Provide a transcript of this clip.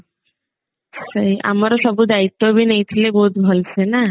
ସେଇ ଆମର ସବୁ ଦାଇତ୍ଵ ବି ନେଇଥିଲେ ବହୁତ ଭଲ ସେ ନା